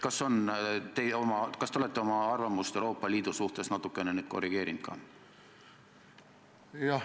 Kas te olete oma arvamust Euroopa Liidu kohta natukene korrigeerinud?